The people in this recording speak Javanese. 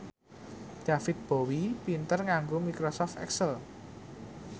David Bowie pinter nganggo microsoft excel